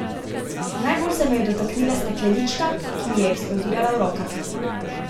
Najbolj se me je dotaknila steklenička, ki mi je eksplodirala v rokah.